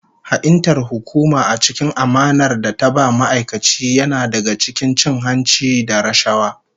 Ha'intar hukuma a cikin amanar da ta ba ma'aikaci yana daga cikin cin hanci da rashawa